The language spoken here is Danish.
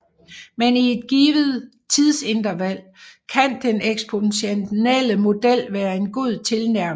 Men i et givet tidsinterval kan den eksponentielle model være en god tilnærmelse